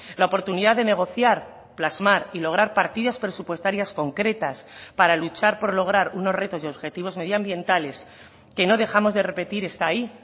la oportunidad de negociar plasmar y lograr partidas presupuestarias concretas para luchar por lograr unos retos y objetivos medioambientales que no dejamos de repetir está ahí